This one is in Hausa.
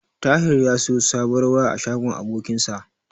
Tahir ya siyo sabuwar waya a shagon abokinsa.